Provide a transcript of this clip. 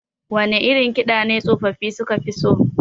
Wane irin kiɗa ne tsofaffafi suka fi so?